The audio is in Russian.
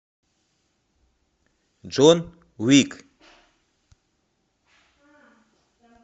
джон уик